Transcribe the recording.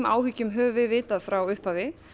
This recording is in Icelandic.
áhyggjum höfum við vitað frá upphafi